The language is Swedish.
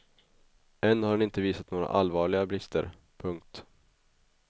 Än har den inte visat några allvarliga brister. punkt